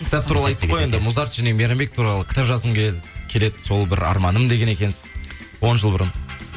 кітап туралы айттық қой енді музарт және мейрамбек туралы кітап жазғым келеді сол бір арманым деген екенсіз он жыл бұрын